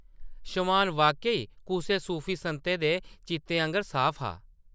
शमान वाक्या-ई कुसै सूफी संतै दे चितै आंगर साफ हा ।